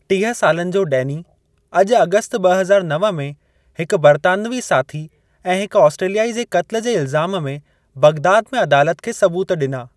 टीह सालनि जो डैनी अॼु अगस्त ॿ हज़ार नव में हिक बरितानवी साथी ऐं हिक ऑस्ट्रेलियाई जे क़त्लु जे इल्ज़ाम में बगदाद में अदालत खे सबूत डि॒ना।